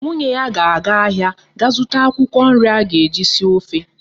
Nwunye ya ga aga ahia ga zuta akwukwo nri aga eji esi ofe